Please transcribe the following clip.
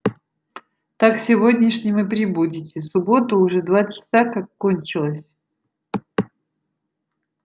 так сегодняшним и прибудете суббота уже два часа как кончилась